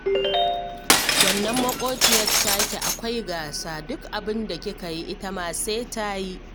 Wannan maƙwabciyar taki akwai gasa, duk abinda kika yi, ita ma sai ta yi